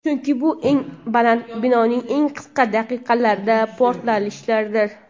chunki bu eng baland binoning eng qisqa daqiqalarda portlatilishidir.